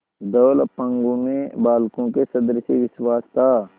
धवल अपांगों में बालकों के सदृश विश्वास था